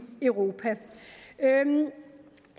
europa